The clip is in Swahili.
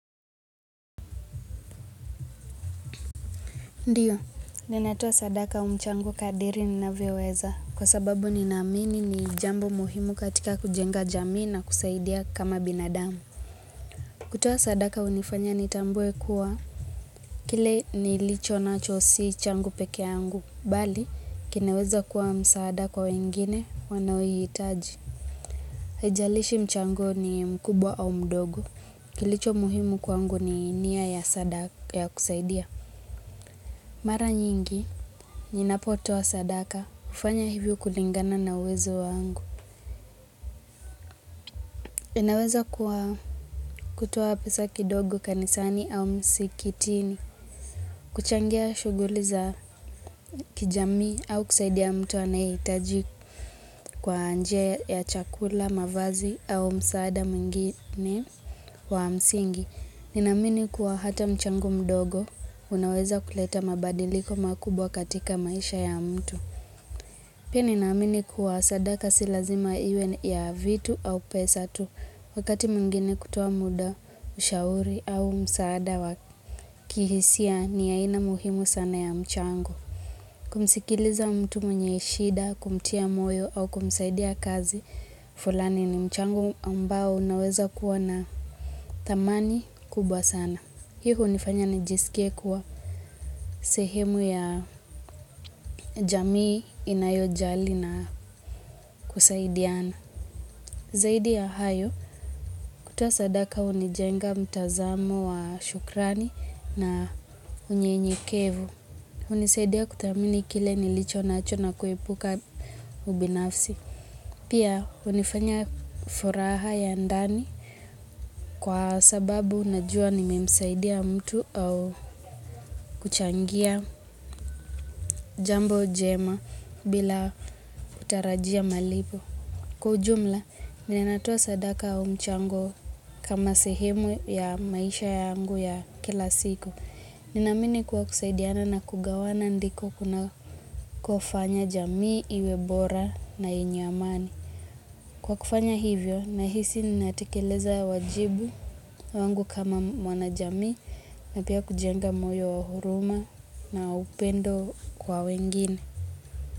Ndiyo, ninatoa sadaka au mchango kadiri ninavioweza. Kwa sababu ninamini ni jambo muhimu katika kujenga jamii na kusaidia kama binadamu. Kutua sadaka unifanya nitambuwe kuwa kile nilicho nacho si changu pekee angu. Bali, kinaweza kuwa msaada kwa wengine wanaowitaji. Haijalishi mchango ni mkubwa au mdogo. Kilicho muhimu kwangu ni niya ya sadaka ya kusaidia. Mara nyingi, ninapotoa sadaka, ufanya hivyo kulingana na uwezo wangu. Inaweza kutowa pesa kidogo kanisani au msikitini. Kuchangia shuguli za kijami au kusaidia mtu anaitaji kwa nje ya chakula, mavazi au msaada muingine wa msingi. Ninamini kuwa hata mchango mdogo, unaweza kuleta mabadiliko makubwa katika maisha ya mtu. Pia ninaamini kuwa sadaka si lazima iwe ya vitu au pesa tu wakati mwingine kutowa muda, ushauri au msaada wa kihisia ni ya aina muhimu sana ya mchango. Kumsikiliza mtu mwenye shida, kumtia moyo au kumsaidia kazi, fulani ni mchango ambao unaweza kuwa na tamani kubwa sana. Hii unifanya nijisikie kuwa sehemu ya jamii inayojali na kusaidiana. Zaidi ya hayo, kutoa sadaka unijenga mtazamo wa shukrani na unye nyekevu. Unisaidia kutamini kile nilicho na achona kuhepuka ubinafsi. Pia unifanya furaha ya ndani kwa sababu najua nimemsaidia mtu au kuchangia jambo jema bila kutarajia malipo Kujumla, nininatoa sadaka umchango kama sehemu ya maisha yangu ya kila siku Ninamini kuwa kusaidiana na kugawana ndiko kuna kufanya jamii, iwe bora na yenye amani Kwa kufanya hivyo, nahisi ninatekeleza wajibu wangu kama mwana jamii Napia kujenga moyo wa huruma na upendo kwa wengine.